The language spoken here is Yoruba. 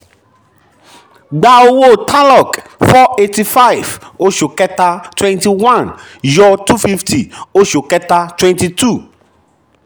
gbà owó tarlok four eight five oṣù kẹta twenty one yọ two fifty oṣù kẹta twenty two